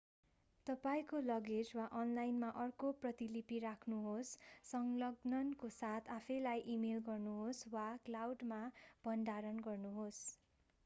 तपाईंको लगेज वा अनलाइनमा अर्को प्रतिलिपि राख्नुहोस् संलग्ननको साथ आफैँलाई इमेल गर्नुहोस् वा क्लाउड”मा भण्डारण गर्नुहोस्।